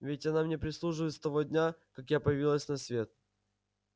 ведь она мне прислуживает с того дня как я появилась на свет